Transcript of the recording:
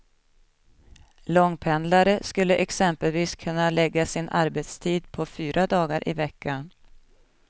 Långpendlare skulle exempelvis kunna lägga sin arbetstid på fyra dagar i veckan.